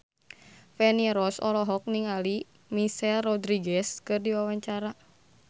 Feni Rose olohok ningali Michelle Rodriguez keur diwawancara